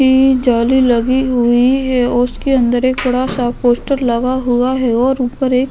जाले लगी हुई है और उसके अंदर एक बड़ा सा पोस्टर लगा हुआ है और ऊपर एक --